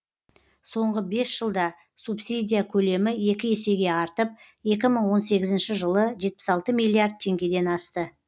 соңғы бес жылда субсидия көлемі екі есеге артып екі мың он сегізінші жылы жетпіс алты миллиард теңгеден асты